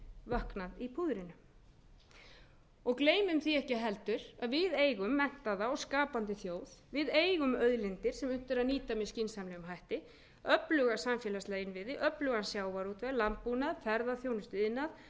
vöknað í púðrinu og gleymum því ekki heldur að við eigum menntaða og skapandi þjóð við eigum auðlindir sem unnt er að nýta með skynsamlegum hætti öfluga samfélagslega innviði öflugan sjávarútveg öflugan sjávarútveg landbúnað ferðaþjónustuiðnað öfluga menningu sem er okkur til